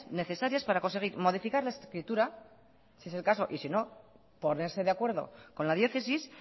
necesarias para conseguir modificar las escrituras si es el caso y si no ponerse de acuerdo con la diócesis